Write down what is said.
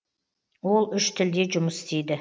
ол үш тілде жұмыс істейді